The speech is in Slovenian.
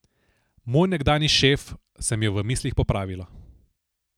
Moj nekdanji šef, sem jo v mislih popravila.